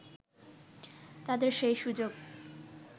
তাদের সেই সুযোগ